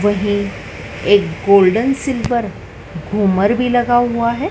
वही एक golden silver घूमर भी लगा हुआ है।